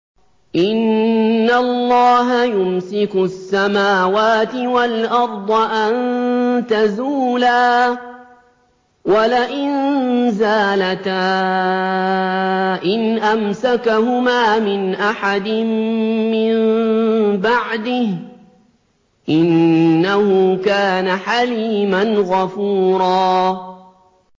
۞ إِنَّ اللَّهَ يُمْسِكُ السَّمَاوَاتِ وَالْأَرْضَ أَن تَزُولَا ۚ وَلَئِن زَالَتَا إِنْ أَمْسَكَهُمَا مِنْ أَحَدٍ مِّن بَعْدِهِ ۚ إِنَّهُ كَانَ حَلِيمًا غَفُورًا